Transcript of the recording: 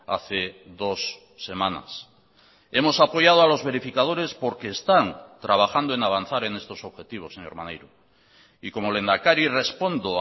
hace dos semanas hemos apoyado a los verificadores porque están trabajando en avanzar en estos objetivos señor maneiro y como lehendakari respondo